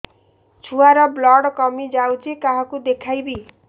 ଛୁଆ ର ବ୍ଲଡ଼ କମି ଯାଉଛି କାହାକୁ ଦେଖେଇବି